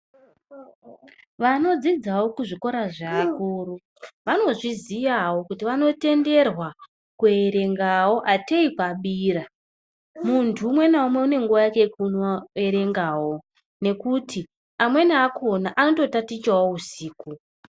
Vanodzidzawo kuzvikora zvewakuru, vanozviziyawo kuti vanotenderwa kuyerengawo ateyikwabiyira. Munthu umwe nawumwe unenguwa yake yekuyerengawo nekuti amweni akhona anototatichawo wusiku.